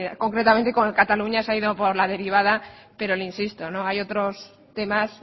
concretamente con cataluña se ha ido por la derivada pero le insisto hay otros temas